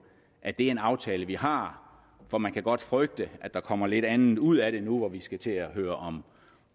at det er en aftale vi har for man kan godt frygte at der kommer noget lidt andet ud af det nu hvor vi skal til at høre om